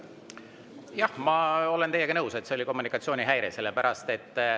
Jah, ma olen teiega nõus, et see oli kommunikatsioonihäire.